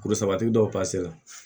Kuru sabati dɔw la